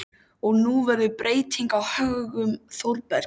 Og nú verður breyting á högum Þórbergs.